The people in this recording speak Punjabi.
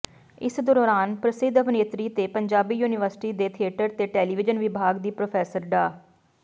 ਇਸ ਦੌਰਾਨ ਪ੍ਰਸਿੱਧ ਅਭਿਨੇਤਰੀ ਤੇ ਪੰਜਾਬੀ ਯੂਨੀਵਰਸਿਟੀ ਦੇ ਥੀਏਟਰ ਤੇ ਟੈਲੀਵੀਜ਼ਨ ਵਿਭਾਗ ਦੀ ਪ੍ਰੋਫੈਸਰ ਡਾ